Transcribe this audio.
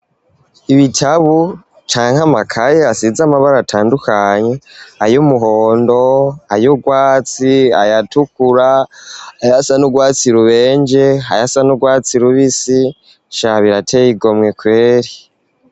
Ibitabu canke amakaye asize amabaro atandukanye ay' umuhondo, ay urwatsi, ay'atukura, ayasa n'urwatsi rubenje, ayasa n'urwatsi rubisi sha birateye igomwe kweri.